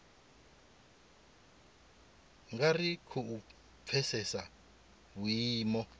nga ri khou pfesesa vhuimo